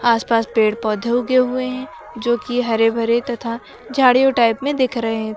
आसपास पेड़ पौधे उगे हुए हैं जो कि हरे भरे तथा झाड़ियों टाइप में दिख रहे हैं।